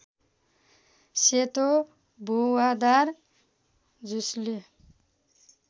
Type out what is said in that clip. सेतो भुवादार झुसले